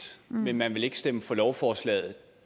men at man ikke vil stemme for lovforslaget